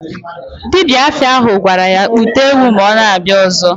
Dibia afa ahụ gwara ya kpụta ewu ma ọ na-abịa ọzọ.